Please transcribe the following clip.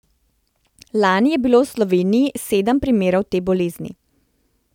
Lani je bilo v Sloveniji sedem primerov te bolezni.